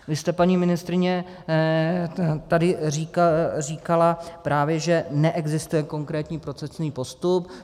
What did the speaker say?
Vy jste, paní ministryně, tady říkala, právě že neexistuje konkrétní procesní postup.